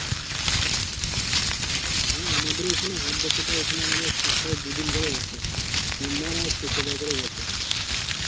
হ্যাঁ আমাদের এখানে হাট বসে তো এখানে আমাদের সপ্তাহে দুদিন করে বসে সোমবার আর শুক্রবার করে বসে,